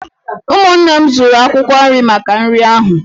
Ụmụnne m zụrụ akwụkwọ nri maka nri ahu.